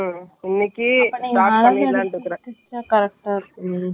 ஏன்னா நான் தைச்சிட்டான்னா, நீங்க வந்து போட்டுக்குற மாதிரி இருக்கணும்னு நான் நினைக்குறேன்.